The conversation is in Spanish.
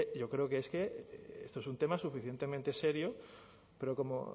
yo creo que esto es un tema suficientemente serio pero como